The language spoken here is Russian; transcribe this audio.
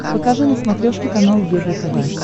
покажи на смотрешке канал егэ тв